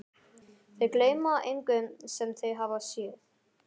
Þau gleyma engu sem þau hafa séð.